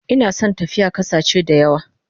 Ina son tafiya kasache dayawa